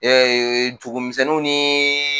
Ee dugumisɛnninw ni